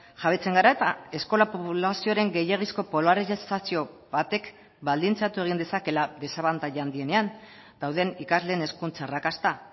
jabetzen gara eta eskola poblazioaren gehiegizko polarizazio batek baldintzatu egin dezakeela desabantaila handienean dauden ikasleen hezkuntza arrakasta